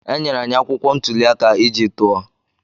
E nyere anyị akwụkwọ ntuli aka iji tụọ.